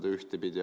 Seda ühtepidi.